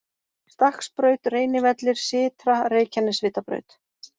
Stakksbraut, Reynivellir, Sytra, Reykjanesvitabraut